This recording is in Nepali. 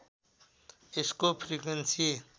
यसको फ्रिक्वेन्सी